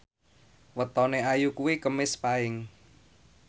wetone Ayu kuwi Kemis Paing